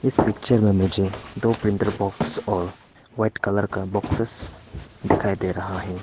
इस पिक्चर में मुझे दो प्रिन्टर बाक्स और व्हाइट कलर का बॉक्ससे दिखाई दे रहा है।